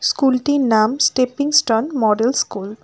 School -টির নাম stepping stone model school.